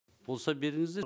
болса беріңіздер